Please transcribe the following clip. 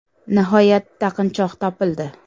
Nihoyat taqinchoq topildi.